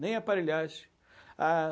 Nem a aparelhagem. Ah